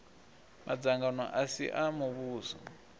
madzangano a si a muvhuso